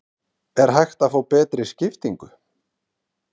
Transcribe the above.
Er hægt að fá betri skiptingu?